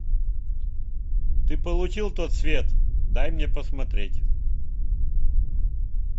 ты получил тот свет дай мне посмотреть